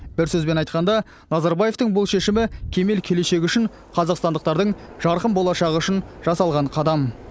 бір сөзбен айтқанда назарбаевтың бұл шешімі кемел келешек үшін қазақстандықтардың жарқын болашағы үшін жасалған қадам